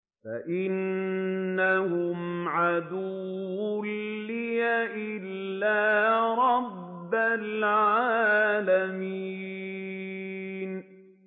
فَإِنَّهُمْ عَدُوٌّ لِّي إِلَّا رَبَّ الْعَالَمِينَ